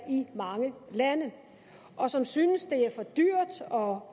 i mange lande og som synes det er for dyrt og